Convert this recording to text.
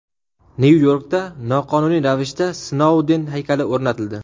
Nyu-Yorkda noqonuniy ravishda Snouden haykali o‘rnatildi .